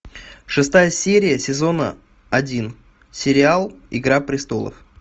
шестая серия сезона один сериал игра престолов